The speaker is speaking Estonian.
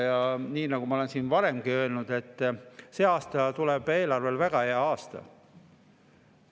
Ja nii nagu ma olen siin varemgi öelnud, see aasta tuleb eelarvele väga hea aasta.